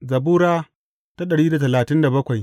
Zabura Sura dari da talatin da bakwai